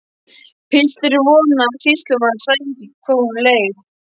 Pilturinn vonaði að sýslumaður sæi ekki hvað honum leið.